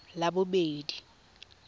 labobedi